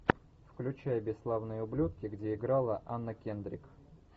включай бесславные ублюдки где играла анна кендрик